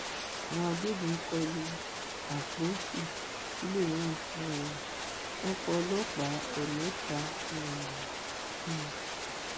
àwọn agbébọn kọ lu àpọsù sulaimon um wọn pa ọlọpàá ẹ mẹta um ẹ